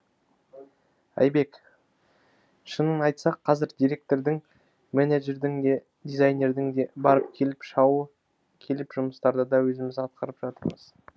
айбек шынын айтсақ қазір директордың мененджердің де дизайнердің де барып кел шауы келіп жұмыстарды да өзіміз атқарып жатырмыз